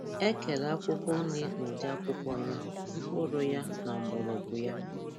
Ekere akwụkwọ nri n' ụdị akwukwọ ya, mkpụrụ ya, na mgborọgwu ya.